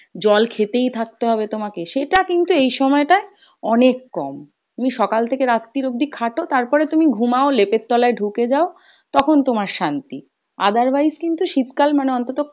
জল খেতেই থাকতে হবে তোমাকে সেটা কিন্তু এই সময় টাই অনেক কম। তুমি সকাল থেকে রাত্রির অবধি খাটো তারপরে তুমি ঘুমাও লেপের তলায় ঢুকে যাও তখন তোমার শান্তি otherwise কিন্তু শীতকাল মানে অন্তত